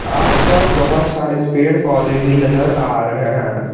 आस पास बहोत सारे पेड़ पौधे भी नजर आ रहे हैं।